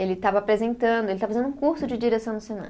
Ele estava apresentando, ele estava fazendo um curso de direção no